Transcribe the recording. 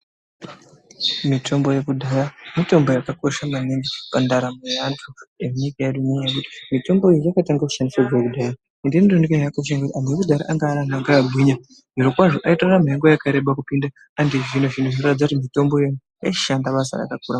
Mitombo yekudhaya mitombo yakakosha maningi pandaramo yevantu ngenyaya yekuti mitombo iyi yakatange kushanda kubva kudhaya. Zvinotooneka ngekuti antu ekudhaya aigara akagwinya. Zvirokwazvo vaitora nguwa yakàreba kupinda antu echizvino zvino. Zvinoratidza kuti mitombo iyi yaishanda basa rakakura.